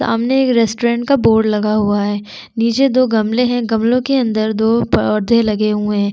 सामने एक रस्टोरेंट का बोर्ड लगा हुआ है नीचे दो गमले है गमलों के अंदर दो पोधे लगे हुए है।